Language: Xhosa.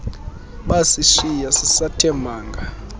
basishiya sisathe manga